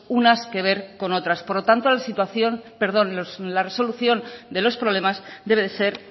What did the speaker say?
unas que ver con otras por lo tanto la resolución de los problemas debe de ser